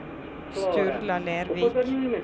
Sturla Lervik